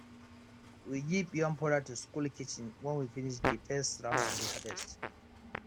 we give yam powder to school kitchen when we finish de first round of de harvest